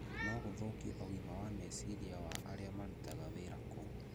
no gũthũkie ũgima wa meciria wa arĩa marutaga wĩra kou.